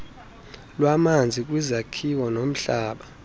lwamanzi kwizakhiwo nomhlaba